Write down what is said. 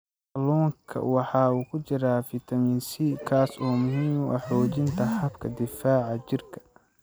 Kalluunka waxaa ku jira fitamiin C, kaas oo muhiim u ah xoojinta habka difaaca jirka.